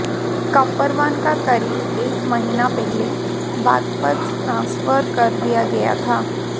कपरवान का करीब एक महीना पहले बागपत ट्रांसफर कर दिया गया था